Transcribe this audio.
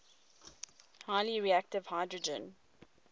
highly reactive hydrogen